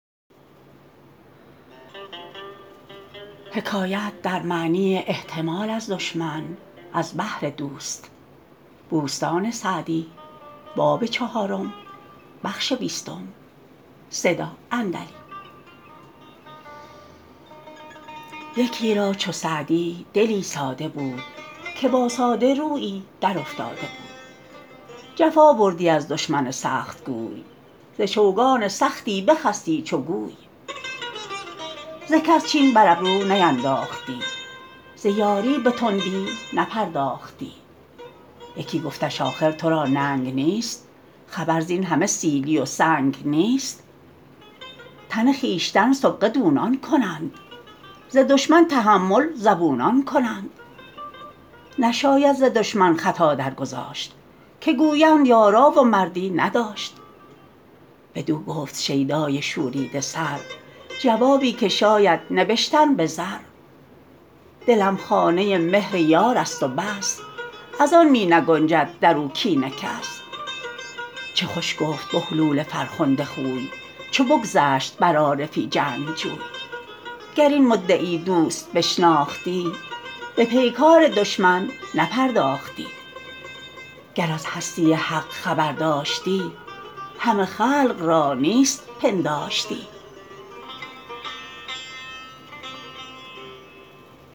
یکی را چو سعدی دلی ساده بود که با ساده رویی در افتاده بود جفا بردی از دشمن سختگوی ز چوگان سختی بخستی چو گوی ز کس چین بر ابرو نینداختی ز یاری به تندی نپرداختی یکی گفتش آخر تو را ننگ نیست خبر زین همه سیلی و سنگ نیست تن خویشتن سغبه دونان کنند ز دشمن تحمل زبونان کنند نشاید ز دشمن خطا درگذاشت که گویند یارا و مردی نداشت بدو گفت شیدای شوریده سر جوابی که شاید نبشتن به زر دلم خانه ی مهر یار است و بس از آن می نگنجد در او کین کس چه خوش گفت بهلول فرخنده خوی چو بگذشت بر عارفی جنگجوی گر این مدعی دوست بشناختی به پیکار دشمن نپرداختی گر از هستی حق خبر داشتی همه خلق را نیست پنداشتی